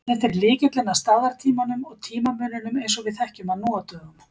Þetta er lykillinn að staðartímanum og tímamuninum eins og við þekkjum hann nú á dögum.